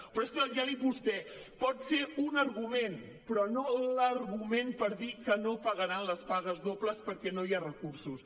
però és que ja li ha dit vostè pot ser un argument però no l’argument per dir que no pagaran les pagues dobles perquè no hi ha recursos